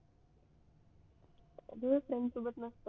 freinds सोबत नसत